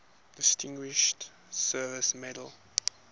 distinguished service medal